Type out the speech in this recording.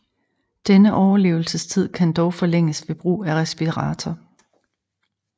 Denne overlevelsestid kan dog forlænges ved brug af respirator